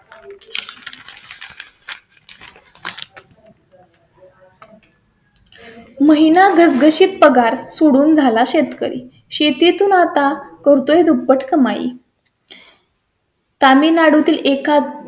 महिना शी पगार सुरू झाला. शेतकरी शेती तून आता करतोय दुप्पट कमाई . तामिळनाडू तील एका